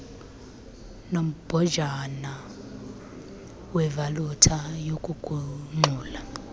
nombhojana wevalufa yokugungxula